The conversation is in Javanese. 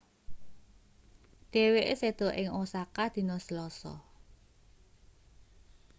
dheweke seda ing osaka dina selasa